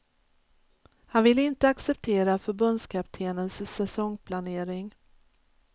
Han ville inte acceptera förbundskaptenens säsongsplanering.